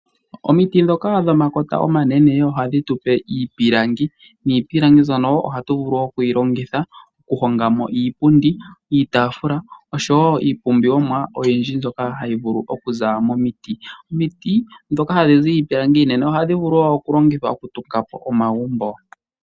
Omiti ndhoka dhomakota omanene ohadhi tu pe iipilangi niipilangi mbyono ohatu vulu oku yi longitha okuhonga mo iipundi, iitaafula oshowo iipumbiwomwa oyindji mbyoka hayi vulu okuza momiti. Omiti ndhoka hadhi zi iipilangi iinene ohadhi vulu wo oku longithwa okutunga po omagumbo.